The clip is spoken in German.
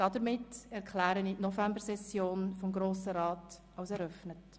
Damit erkläre ich die Novembersession des Grossen Rates für eröffnet.